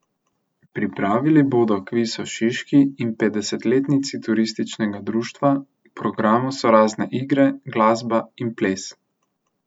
Pripravili bodo kviz o Šiški in petdesetletnici turističnega društva, v programu so razne igre, glasba in ples.